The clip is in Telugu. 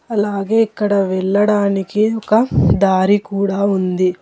అలాగే ఇక్కడ వెళ్లడానికి ఒక దారి కూడా ఉంది.